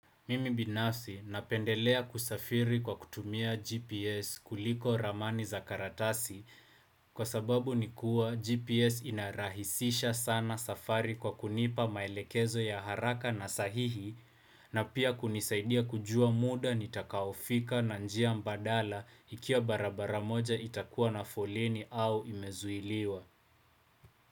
Mimi binafsi napendelea kusafiri kwa kutumia GPS kuliko ramani za karatasi kwa sababu ni kuwa GPS inarahisisha sana safari kwa kunipa maelekezo ya haraka na sahihi na pia kunisaidia kujua muda nitakaofika na njia mbadala ikiwa barabara moja itakuwa na foleni au imezuiliwa.